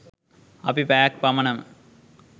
අපි පැයක් පමණම